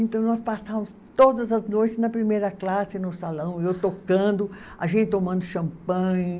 Então, nós passávamos todas as noites na primeira classe, no salão, eu tocando, a gente tomando champanhe.